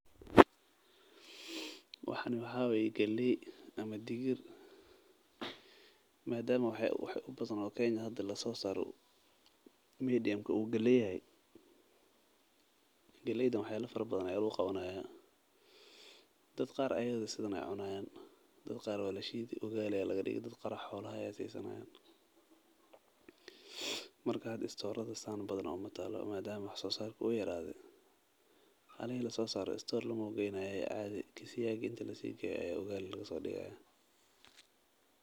Waxani waa waye galeey ama digir madaama waxa ubadan oo hada kenya lasoo saaro uu galeey yahay dad qaar waa lashiidi dad qaar waay cunaayan.